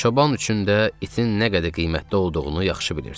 Çoban üçün də itin nə qədər qiymətli olduğunu yaxşı bilirdi.